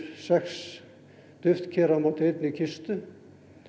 sex duftker á móti einni kistu